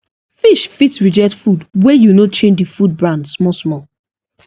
fish fit reject food wey you no change the food brand small small